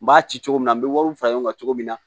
N b'a ci cogo min na n bɛ wariw fara ɲɔgɔn kan cogo min na